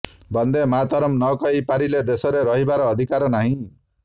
ବନ୍ଦେ ମାତରମ ନକହି ପାରିଲେ ଦେଶରେ ରହିବାର ଅଧିକାର ନାହିଁ